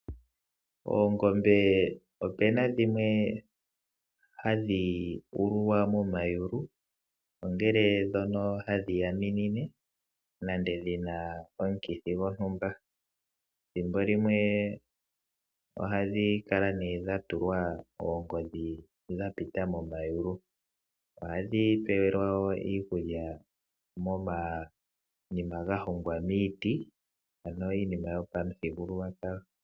Oongombe opena dhimwe hadhi ululwa momayulu, ongele ndhoka hadhi yaminine nenge dhina omukithi gontumba. Ethimbo limwe ohadhi kala ne dha tulwa oongodhi dha pita momayulu. Ohadhi peyelwa wo iikulya momatemba ngoka ga hongwa moshiti ano iinima yo pamuthigululwakalo.